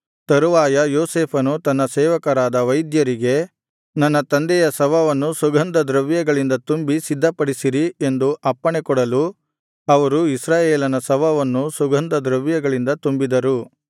ತರುವಾಯ ಯೋಸೇಫನು ತನ್ನ ಸೇವಕರಾದ ವೈದ್ಯರಿಗೆ ನನ್ನ ತಂದೆಯ ಶವವನ್ನು ಸುಗಂಧ ದ್ರವ್ಯಗಳಿಂದ ತುಂಬಿ ಸಿದ್ಧಪಡಿಸಿರಿ ಎಂದು ಅಪ್ಪಣೆ ಕೊಡಲು ಅವರು ಇಸ್ರಾಯೇಲನ ಶವವನ್ನು ಸುಗಂಧ ದ್ರವ್ಯಗಳಿಂದ ತುಂಬಿದರು